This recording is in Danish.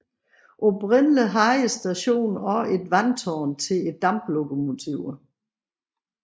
Oprindeligt havde stationen også et vandtårn til damplokomotiverne